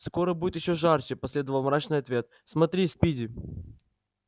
скоро будет ещё жарче последовал мрачный ответ смотри спиди